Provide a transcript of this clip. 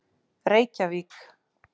Reykjavík